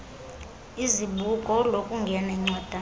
kwizibuko lokungena incwadana